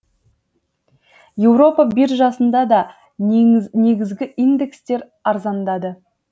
еуропа биржасында да негізгі индекстер арзандады